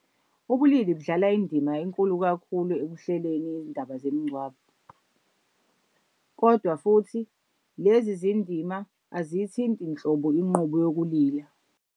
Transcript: Ubulili kudlala indima enkulu kakhulu ekuhleleni izindaba zemingcwabo, kodwa futhi lezi zindima aziyithinte nhlobo inqubo yokulila.